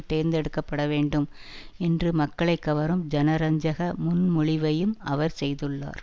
தேர்ந்தெடுக்கப்பட வேண்டும் என்று மக்களை கவரும் ஜனரஞ்சக முன்மொழிவையும் அவர் செய்துள்ளார்